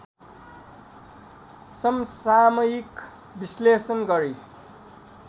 समसामयिक विश्लेषण गरी